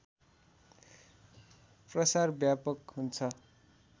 प्रसार व्यापक हुन्छ